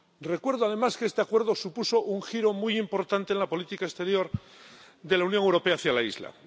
Recuerdo, además, que este Acuerdo supuso un giro muy importante en la política exterior de la Unión Europea hacia la isla.